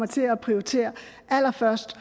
til at prioritere allerførst